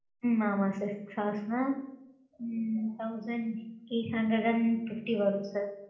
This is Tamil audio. ஆ ஆமாம் sir. Six hours னா ம்ம் thousand eight hundred and fifty வரும் sir.